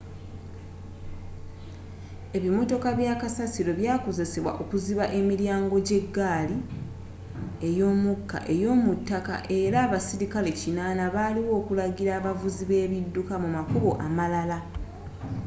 ebimmotoka bya kasasiro byakozesebwa okuziba emiryango egya eggaali y'omukka ey'omu ttaka era abaserikale 80 baaliwo okulagirira abavuzi be ebidduka mu makubo amalala